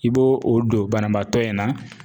I b'o o don banabaatɔ in na.